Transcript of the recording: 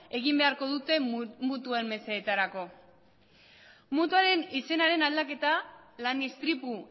egin beharko dute mutuen mesedetarako mutuaren izenaren aldaketa lan istripu